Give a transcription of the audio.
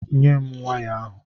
Nyé m waya ahụ!!